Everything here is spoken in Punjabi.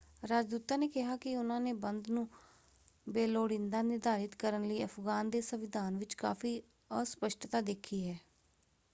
ਰਾਜਦੂਤਾਂ ਨੇ ਕਿਹਾ ਕਿ ਉਨ੍ਹਾਂ ਨੇ ਬੰਦ ਨੂੰ ਬੇਲੋੜੀਂਦਾ ਨਿਰਧਾਰਤ ਕਰਨ ਲਈ ਅਫ਼ਗਾਨ ਦੇ ਸੰਵਿਧਾਨ ਵਿੱਚ ਕਾਫ਼ੀ ਅਸਪੱਸ਼ਟਤਾ ਦੇਖੀ ਹੈ।